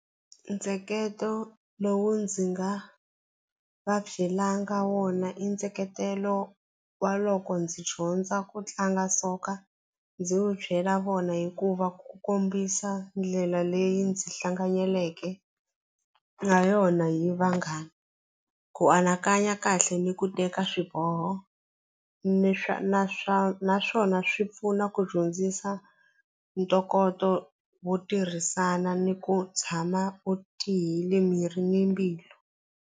Ntsheketo lowu ndzi nga va byelanga wona i ntsheketelo wa loko ndzi dyondza ku tlanga soccer ndzi wu byela vona hikuva ku kombisa ndlela leyi ndzi hlanganyeleke na yona hi vanghana ku anakanya kahle ni ku teka swiboho ni swa na swa naswona swi pfuna ku dyondzisa ntokoto wo tirhisana ni ku tshama u tiyile miri ni mbilu.